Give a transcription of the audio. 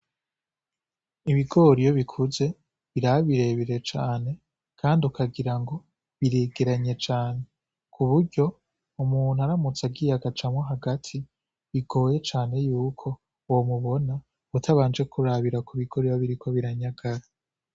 Ibigoriyo bikuze birabirebire cane, kandi ukagira ngo biregeranye cane ku buryo umuntu aramutse agiye agacamwa hagati bigoye cane yuko womubona utabanje kurabira ku bigoriba biriko biranyagara.